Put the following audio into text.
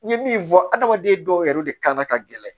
N ye min fɔ adamaden dɔw yɛrɛ de kan ka gɛlɛn